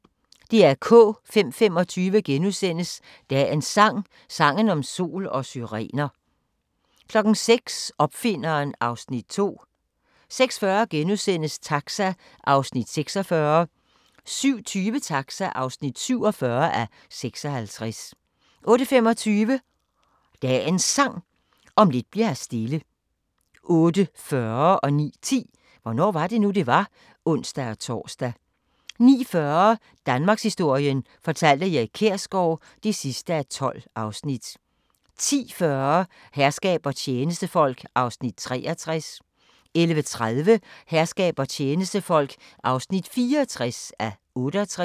05:25: Dagens Sang: Sangen om sol og syrener * 06:00: Opfinderen (Afs. 2) 06:40: Taxa (46:56)* 07:20: Taxa (47:56) 08:25: Dagens Sang: Om lidt bli'r her stille 08:40: Hvornår var det nu, det var? (ons-tor) 09:10: Hvornår var det nu, det var? (ons-tor) 09:40: Danmarkshistorien fortalt af Erik Kjersgaard (12:12) 10:40: Herskab og tjenestefolk (63:68) 11:30: Herskab og tjenestefolk (64:68)